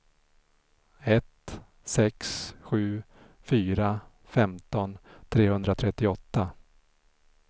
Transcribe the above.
ett sex sju fyra femton trehundratrettioåtta